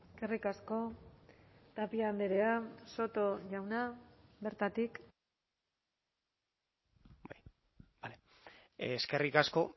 eskerrik asko tapia andrea soto jauna bertatik eskerrik asko